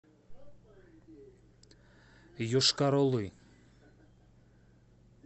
йошкар олы